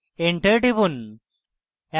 enter টিপুন